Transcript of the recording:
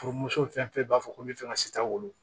Furumuso fɛn fɛn b'a fɔ ko n bɛ fɛ ka si taa wolo